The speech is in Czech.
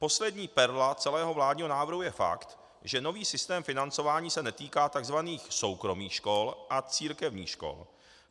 Poslední perla celého vládního návrhu je fakt, že nový sytém financování se netýká tzv. soukromých škol a církevních škol.